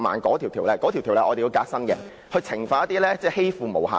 我們須革新該條例，以懲罰欺負"毛孩"的人。